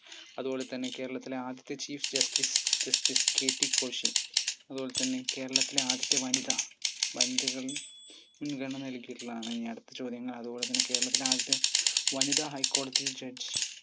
അതുപോലെത്തന്നെ കേരളത്തിലെ ആദ്യത്തെ chief justicejusticeKT കോശി അതുപോലെത്തന്നെ കേരളത്തിലെ ആദ്യത്തെ വനിതാ വനിതകൾ മുൻഗണന നല്കിയിട്ടുള്ളതാണ് ഇനി അടുത്ത ചോദ്യങ്ങൾ അതുപോലെത്തന്നെ കേരളത്തിലെ ആദ്യത്തെ വനിതാ ഹൈക്കോടതി judge